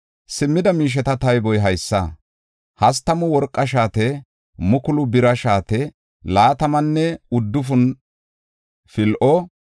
Simmida miisheta tayboy haysa; hastamu worqa shaate, mukulu bira shaate, laatamanne uddufun pil7o,